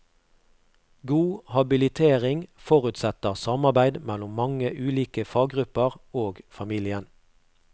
God habilitering forutsetter samarbeid mellom mange ulike faggrupper og familien.